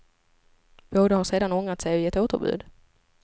Båda har sedan ångrat sig och gett återbud.